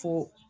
Fo